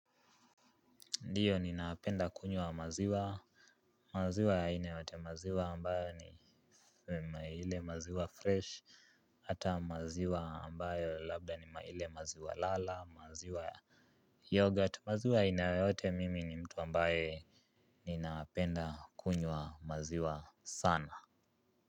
Ndiyo ninaapenda kunywa maziwa. Maziwa ya aina yote maziwa ambayo ni ile maziwa fresh. Hata maziwa ambayo labda ni ile maziwa lala maziwa ya yoghurt. Maziwa inaote mimi ni mtu ambayo ni naapenda kunywa maziwa sana.